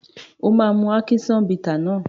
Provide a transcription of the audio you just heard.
O máa mu ákíṣán bità náà.